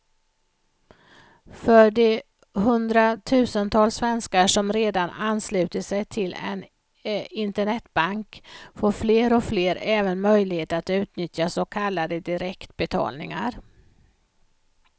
För de hundratusentals svenskar som redan anslutit sig till en internetbank får fler och fler även möjlighet att utnyttja så kallade direktbetalningar.